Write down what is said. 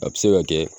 A bɛ se ka kɛ